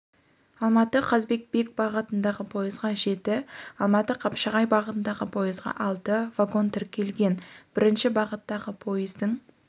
алматы қазыбек бек бағытындағы пойызға жеті алматы қапшағай бағытындағы пойызға алты вагон тіркелген бірінші бағыттағы пойыздың